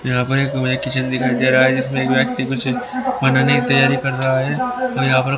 यहां पर एक मुझे किचन दिखाई दे रहा है जिसमे एक व्यक्ति कुछ बनाने की तैयारी कर रहा है। यहां पर--